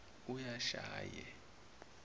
uyashaye